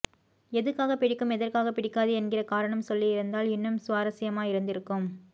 எதுக்காக பிடிக்கும் எதற்காக பிடிக்காது என்கிற காரணம் சொல்லிருந்தால் இன்னும் சுவராஸ்யமா இருந்திருக்கும்